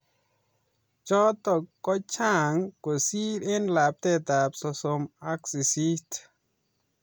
Chotok ko chang kosir eng lapatet sosom ak sisit